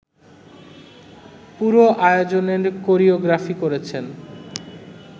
পুরো আয়োজনের কোরিওগ্রাফি করেছেন